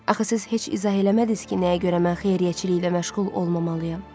Axı siz heç izah eləmədiniz ki, nəyə görə mən xeyriyyəçiliklə məşğul olmamalıyam?